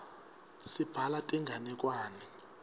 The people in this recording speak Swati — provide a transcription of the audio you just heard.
sibhala tinganekwane